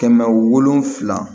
Kɛmɛ wolonwula